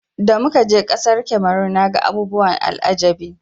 Da muka je ƙasar Kamaru naga abubuwan al'ajabi.